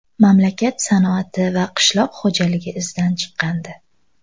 Mamlakat sanoati va qishloq xo‘jaligi izdan chiqqandi.